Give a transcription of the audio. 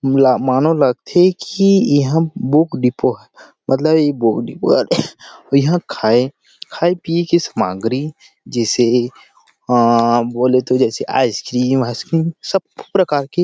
मोल मानो लगथे की यहाँ बुक डिपो हय मतलब ये बुक हरे इहाँ खाये खाये पिए के सामग्री जैसे आ बोले तो जैसे आइसक्रीम आइसक्रीम सब प्रकार की --